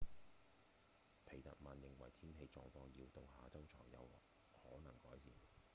皮特曼認為天氣狀況要到下週才有可能改善